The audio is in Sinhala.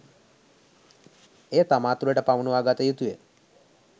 එය තමා තුළට පමුණුවා ගත යුතුය